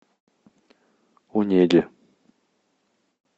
онеге